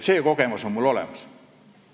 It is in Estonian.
See kogemus on mul olemas.